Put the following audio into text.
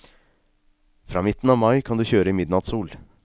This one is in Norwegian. Fra midten av mai kan du kjøre i midnattssol.